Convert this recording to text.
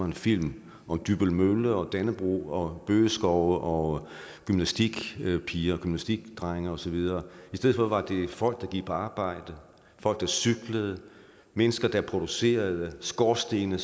en film om dybbøl mølle og dannebrog og bøgeskove og gymnastikpiger og gymnastikdrenge og så videre i stedet for var det folk der gik på arbejde og cyklede mennesker der producerede skorstene